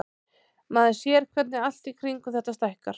Maður sér hvernig allt í kringum þetta stækkar.